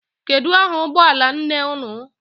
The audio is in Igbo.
Kedu aha ụgbọala nne unu?